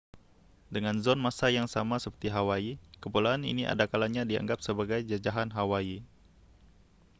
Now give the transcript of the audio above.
dengan zon masa yang sama seperti hawaii kepulauan ini adakalanya dianggap sebagai jajahan hawaii